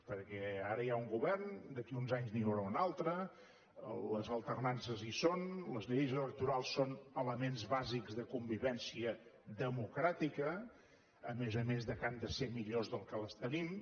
perquè ara hi ha un govern d’aquí a uns anys n’hi haurà un altre les alternances hi són les lleis electorals són elements bàsics de convivència democràtica a més a més que han de ser millors que les que tenim